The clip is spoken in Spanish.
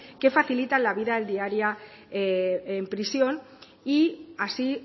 que facilita la vida diaria en prisión y así